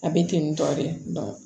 A bɛ ten tɔ de